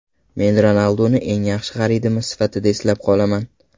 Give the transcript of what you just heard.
Men Ronalduni eng yaxshi xaridimiz sifatida eslab qolaman.